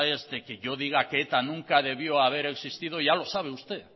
es de que yo diga que eta nunca debió haber existido